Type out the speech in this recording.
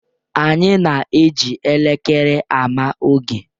Anyị na-eji elekere ama oge.